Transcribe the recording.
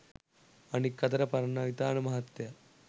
අනික් අතට පරණවිතාන මහත්තයා